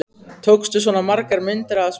Tókstu svona margar myndir af þessum mönnum?